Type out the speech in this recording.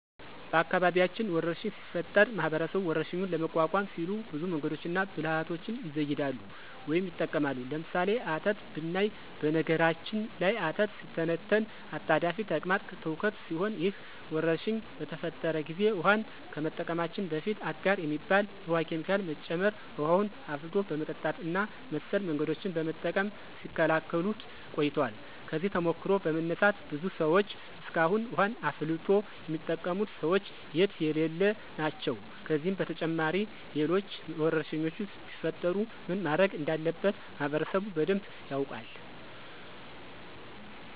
በአካባቢያችን ወረርሽኝ ሲፈጠር ማህበረሰቡ ወረርሽኙን ለመቋቋም ሲሉ ብዙ መንገዶችንና ብልሀቶችን ይዘይዳሉ ወይም ይጠቀማሉ። ለምሳሌ፦ አተት ብናይ በነገራችን ላይ አተት ሲተነተን አጣዳፊ ተቅማጥ ትውከት ሲሆን ይህ ወረርሽኝ በተፈጠረ ጊዜ ውሀን ከመጠቀማችን በፊት አጋር የሚባል የውሀ ኬሚካል መጨመር፣ ውሀን አፍልቶ በመጠጣት እና መሰል መንገዶችን በመጠቀም ሲከላከሉት ቆይተዋል። ከዚህ ተሞክሮ በመነሳት ብዙ ሰዎች እስካሁን ውሀን አፍልቶ የሚጠቀሙት ሰዎች የትየለሌ ናቸው። ከዚህም በተጨማሪ ሌሎች ወረርሽኞች ቢፈጠሩ ምን ማድረግ እንዳለበት ማህበረሰቡ በደንብ ያውቃል።